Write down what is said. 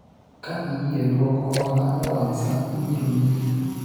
ka iyie dwoko hola e wang' saa ,ibiro miyi